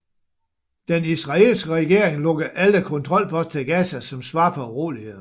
Den israelske regering lukkede alle kontrolposter til Gaza som svar på urolighederne